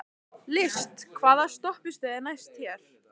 List, hvaða stoppistöð er næst mér?